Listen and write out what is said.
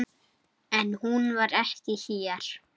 En hún var ekki hér.